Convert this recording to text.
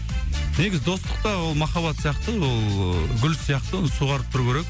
негізі достық та ол махаббат сияқты ол ыыы гүл сияқты суарып тұру керек